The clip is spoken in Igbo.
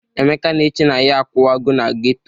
Emeka na-eche na ya akụwagọ na geto.